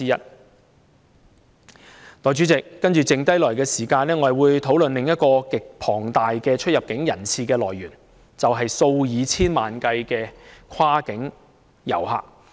代理主席，在餘下的時間，我將會討論另一個極龐大的出入境人次的來源，就是數以千萬計的跨境遊客。